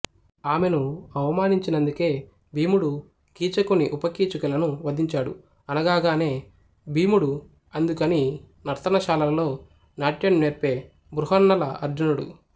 ఆమెను అవమానించినందుకే భీముడు కీచకుని ఉపకీచకులని వధించాడు అనగాగానే భీముడు అందుకుని నర్తనశాలలో నాట్యం నేర్పే బృహన్నల అర్జునుడు